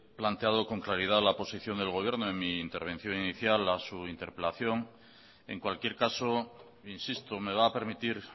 planteado con claridad la posición del gobierno en mi intervención inicial a su interpelación en cualquier caso insisto me va a permitir